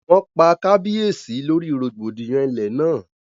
Wọ́n pa kábíyèsí lórí rògbòdìyàn ilé náà